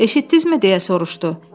Eşitdinizmi, deyə soruşdu.